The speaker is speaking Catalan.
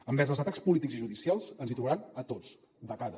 envers els atacs polítics i judicials ens hi trobaran a tots de cara